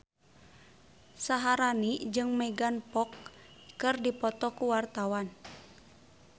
Syaharani jeung Megan Fox keur dipoto ku wartawan